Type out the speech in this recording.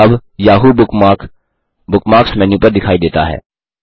अब Yahoo bookmark bookmarks menu पर दिखाई देता है